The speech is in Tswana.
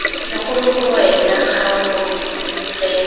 legolo gongwe la kgaolo fela